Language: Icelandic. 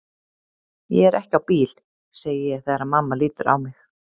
Ég er ekki á bíl, segi ég þegar mamma lítur á mig.